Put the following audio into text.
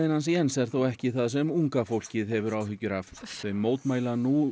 hans Jens er þó ekki það sem unga fólkið hefur áhyggjur af þau mótmæla nú